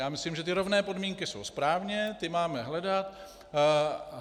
Já myslím, že ty rovné podmínky jsou správně, ty máme hledat.